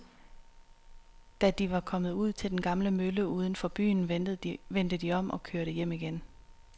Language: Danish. Da de var kommet ud til den gamle mølle uden for byen, vendte de om og kørte hjem igen.